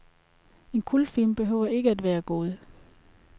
En kultfilm behøver ikke at være god.